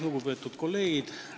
Lugupeetud kolleegid!